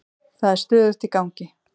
Það er stöðugt í gangi.